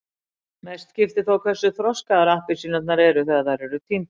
Mestu skiptir þó hversu þroskaðar appelsínurnar eru þegar þær eru tíndar.